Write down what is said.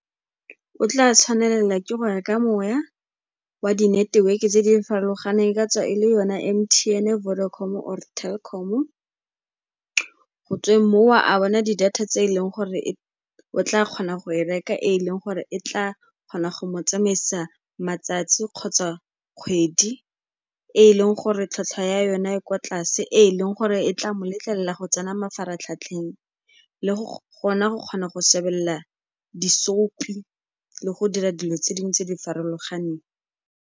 O tla tshwanela ke go reka moya wa di-network-e tse di farologaneng, e ka tswa e le yona M_T_ene, Vodacom-o or Telkom-o, go tsweng moo a bona di-data tse e leng gore o tla kgona go e reka e leng gore e tla kgona go tsamaisa matsatsi kgotsa kgwedi, e leng gore tlhwatlhwa ya yona e kwa tlase, e e leng gore e tla mo letlelela go tsena mafaratlhatlheng, le go kgona go šebelela di-soapie-i le go dira dilo tse dingwe tse di farologaneng.